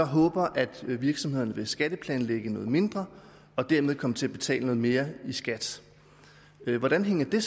håber at virksomhederne vil skatteplanlægge noget mindre og dermed kommer til at betale mere i skat hvordan hænger det